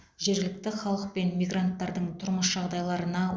жергілікті халық пен мигранттардың тұрмыс жағдайларына